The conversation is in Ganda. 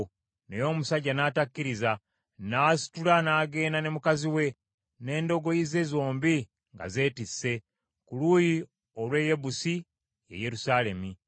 Naye omusajja n’atakkiriza. N’asitula n’agenda ne mukazi we, n’endogoyi ze zombi nga zeetisse, ku luuyi olw’e Yebusi, ye Yerusaalemi.